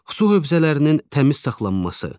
Su hövzələrinin təmiz saxlanması.